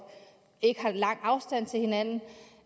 ikke være på lang afstand